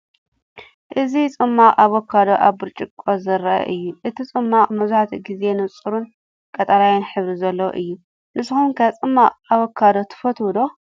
እዚ ጽማቝ ኣቮካዶ ኣብ ብርጭቆ ዘርኢ እዩ። እቲ ጽማቝ መብዛሕትኡ ግዜ ንጹርን ቀጠልያ ሕብሪ ዘለዎን እዩ። ንስኩም ከ ጽማቝ ኣቮካዶ ትፍትው ዶ?